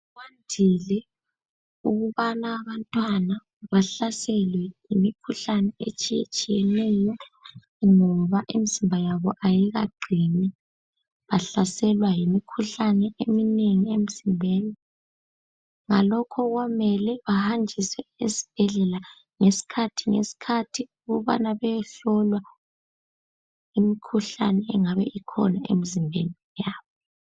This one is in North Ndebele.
Kwandile ukubana abantwana bahlaselwe yimikhuhlane etshiyetshiyeneyo ngoba imizimba yabo ayikaqini bahlaselwa yimikhuhlane eminengi emzimbeni ngalokho kumele bahanjiswe esibhedlela ngesikhathi ngesikhathi ukubana beyehlolwa imikhuhlane engabe ikhona emizimbeni yabo.